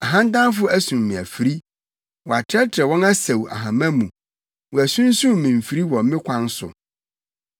Ahantanfo asum me afiri; wɔatrɛtrɛw wɔn asau ahama mu wɔasunsum me mfiri wɔ me kwan so.